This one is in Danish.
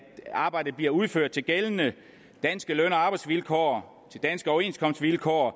arbejdet bliver udført efter de gældende danske løn og arbejdsvilkår de danske overenskomstvilkår og